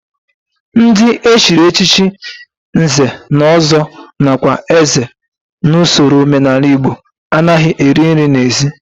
Ndị e chiri echichi nze na ọzọ nakwa eze n'usoro omenala Igbo anaghị eri nri n'ezi